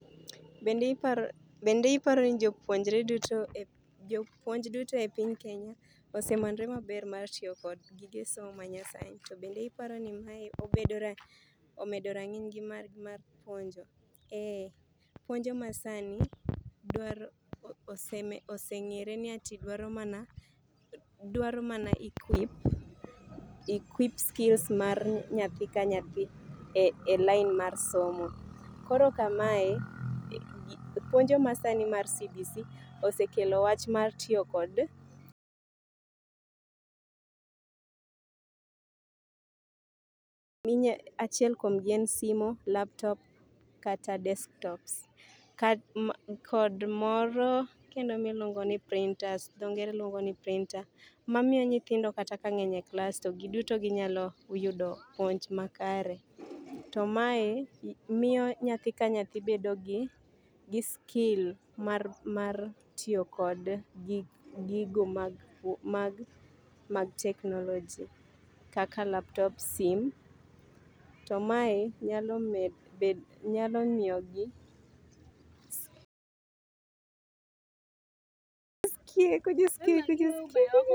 Eeeh, puonjo masani dwaro, osengere ni ati dwaro mana, dwaro mana equip, equip skills mar nyathi ka nyathi e lainmarsomo, korokamae, puonio masani mar CBC osekelo wach mar tiyo kod minya, achiel kuom gi en simu, laptop kata desktops kodmoro miluongo ni printers, dho ngere luondo ni printer mamiyo nyithindo kata ka ngeny e klas to giduto nyalo yudo puonj makare to mae miyo nyathi kanyathi bedo gi skill mar tiyo gi gigo mag teknolojia kaka laptop, sim .To mae nyalo miyo gi skill